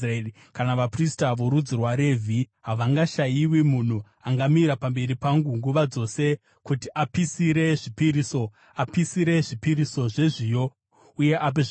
Kana vaprista, vorudzi rwaRevhi, havangashayiwi munhu angamira pamberi pangu nguva dzose kuti apisire zvipiriso, apisire zvipiriso zvezviyo uye ape zvibayiro.’ ”